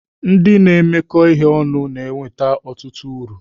Ndị na-emekọ ihe ọnụ na-enweta ọtụtụ uru.